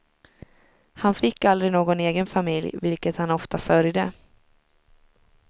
Han fick aldrig någon egen familj, vilket han ofta sörjde.